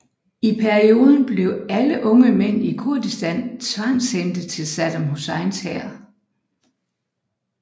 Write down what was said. I perioden bliver alle unge mænd i Kurdistan tvangshentet til Saddam Husseins hær